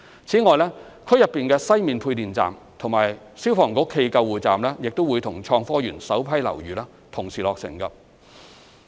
此外，區內的西面配電站及消防局暨救護站亦會與創科園首批樓宇同時落成。